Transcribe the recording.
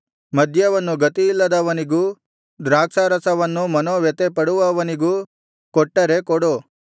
ಮದ್ಯವನ್ನು ಗತಿಯಿಲ್ಲದವನಿಗೂ ದ್ರಾಕ್ಷಾರಸವನ್ನು ಮನೋವ್ಯಥೆಪಡುವವನಿಗೂ ಕೊಟ್ಟರೆ ಕೊಡು